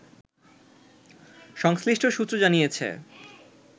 সংশ্লিষ্ট সূত্র জানিয়েছে